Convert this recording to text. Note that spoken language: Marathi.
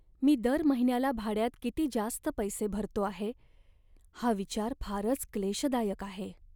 मी दर महिन्याला भाड्यात किती जास्त पैसे भरतो आहे हा विचार फारच क्लेशदायक आहे.